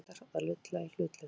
Króatar að lulla í hlutlausum?